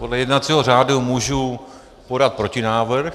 Podle jednacího řádu můžu podat protinávrh.